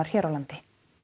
hér á landi